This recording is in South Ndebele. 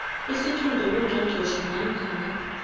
isiqunto kungqongqotjhe namkha